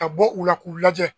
Ka bɔ u la k'u lajɛ.